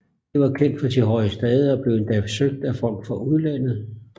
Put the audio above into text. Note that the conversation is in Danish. Det var kendt for sit høje stade og blev endda søgt af folk fra udlandet